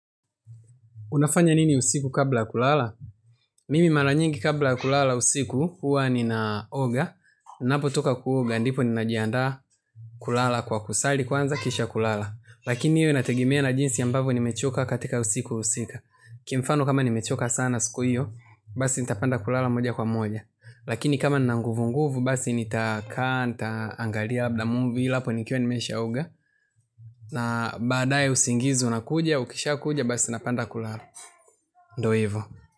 Unafanya nini usiku kabla kulala? Mimi mara nyingi kabla ya kulala usiku, huwa ninaoga. Napotoka kuoga, ndipo ninajiandaa kulala kwa kusali kwanza, kisha kulala. Lakini hiyo inategemea na jinsi ambavyo nimechoka katika siku husika. Kimfano kama nimechoka sana siku hiyo, basi nitapenda kulala moja kwa moja. Lakini kama nina nguvunguvu, basi nitakaa, nitaangalia, labda movie, ilapo nikiwa nimeshaoga. Na baadaye usingizi unakuja, ukisha kuja, basi napenda kulala. Ndio hivo.